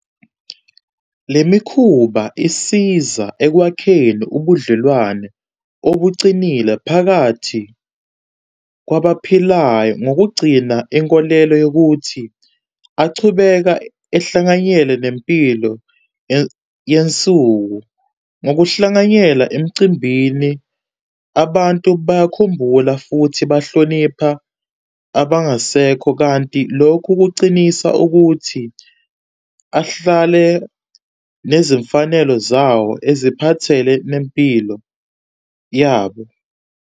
Le mikhuba isiza ekwakheni ubudlelwane obucinile phakathi kwabaphilayo ngokugcina inkolelo yokuthi achubeka ehlanganyele nempilo yansuku. Ngokuhlanganyela emcimbini abantu bayakhumbula futhi bahlonipha abangasekho. Kanti lokhu kucinisa ukuthi ahlale nezimfanelo zawo eziphathele nempilo yabo.